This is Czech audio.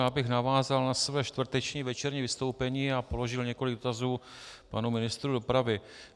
Já bych navázal na své čtvrteční večerní vystoupení a položil několik dotazů panu ministru dopravy.